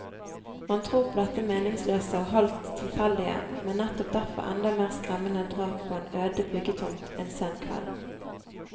Man tror på dette meningsløse og halvt tilfeldige, men nettopp derfor enda mer skremmende drap på en øde byggetomt en sen kveld.